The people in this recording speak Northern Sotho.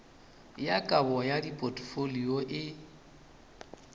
ya kabo ya dipotfolio e